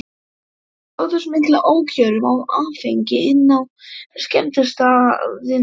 Þær gátu smyglað ókjörum af áfengi inn á skemmtistaðina.